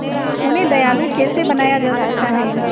उन्हें दयालु कैसे बनाया जा सकता है